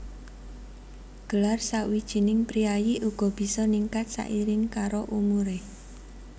Gelar sawijining priyayi uga bisa ningkat sairing karo umuré